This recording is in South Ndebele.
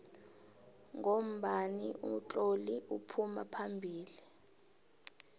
ngombani utloli uphuma phambili